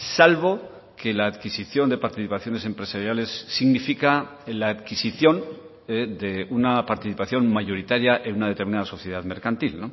salvo que la adquisición de participaciones empresariales significa la adquisición de una participación mayoritaria en una determinada sociedad mercantil